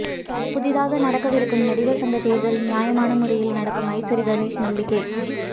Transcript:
புதிதாக நடக்கவிருக்கும் நடிகர் சங்கத் தேர்தல் நியாயமான முறையில் நடக்கும் ஐசரி கனேஷ் நம்பிக்கை